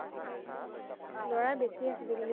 লৰাৰ বেছি আছিলে কিন্তু